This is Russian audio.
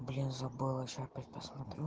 блин забыла сейчас опять посмотрю